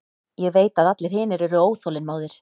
Ég veit að allir hinir eru óþolinmóðir.